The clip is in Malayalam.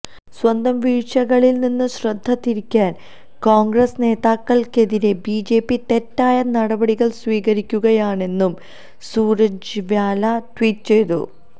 സ്വന്തം വീഴ്ച്ചകളില്നിന്ന് ശ്രദ്ധതിരിക്കാന് കോണ്ഗ്രസ് നേതാക്കള്ക്കെതിരെ ബിജെപി തെറ്റായ നടപടികള് സ്വീകരിക്കുകയാണെന്നും സുര്ജേവാല ട്വീറ്റ് ചെയ്തു